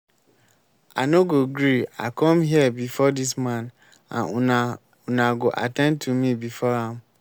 i no go gree i come here before dis man and una una go at ten d to me before am